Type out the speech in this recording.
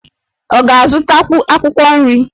Ọ ga-azụtakwu akwụkwọ nri?